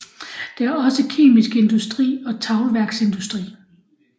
Der er også kemisk industri og teglværksindustri